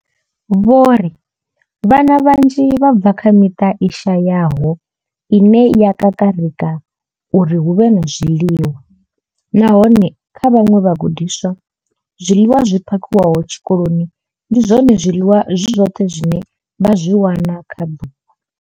Vho ri, Vhana vhanzhi vha bva kha miṱa i shayaho ine ya kakarika uri hu vhe na zwiḽiwa, nahone kha vhaṅwe vhagudiswa, zwiḽiwa zwi phakhiwaho tshikoloni ndi zwone zwiḽiwa zwi zwoṱhe zwine vha zwi wana kha ḓuvha.